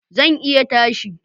Zan iya tashi